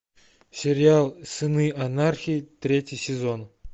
сериал сыны анархии третий сезон